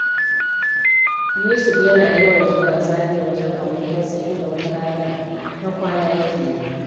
Yusuf yana yawan zuwa Zariya wajen abokinsa, inda wata ranar har kwana yake yi.